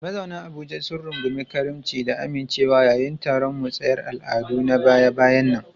Mazauna Abuja sun rungumi karimci da amincewa yayin taron musayar al'adu na baya-bayan nan.